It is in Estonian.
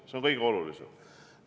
See on kõige olulisem.